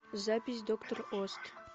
запись доктор ост